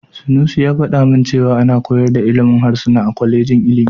Sanusi ya faɗa min cewa ana koyar da ilimin harsuna a kwalejin ilimi.